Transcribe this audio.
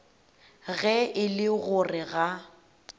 ge e le gore ga